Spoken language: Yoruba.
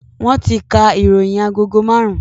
Wọn ti ka ìròyìn agogo marun-un